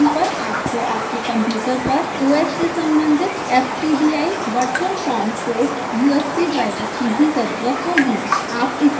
Windows machine पर आपको आपके कंप्यूटर पर os से सम्बंधित ftdi virtual com port usb driver की भी ज़रुरत होगी